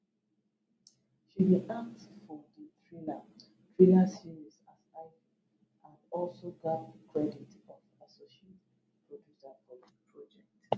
she bin act for di thriller thriller series as ivy and also gbab credit of associate producer for di project